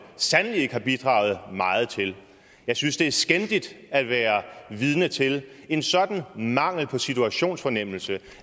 sandelig ikke har bidraget meget til jeg synes det er skændigt at være vidne til en sådan mangel på situationsfornemmelse